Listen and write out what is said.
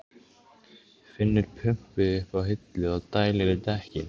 Finnur pumpu uppi á hillu og dælir í dekkin.